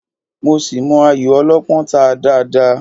Mo ṣì mọ ayò Ọlọ́pọ́n ta dáadáa